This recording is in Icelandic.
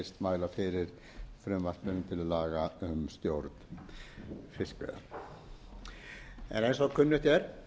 mæla fyrir frumvarpi til laga um stjórnfiskveiða en eins og kunnugt er